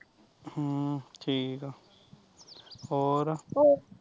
ਹਮ ਠੀਕ ਆ ਹੋਰ